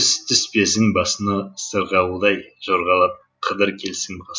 іс түспесін басыңа сырғауылдай жорғалап қыдыр келсін